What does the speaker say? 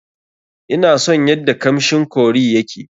Ina son yadda kamshin curry ya ke.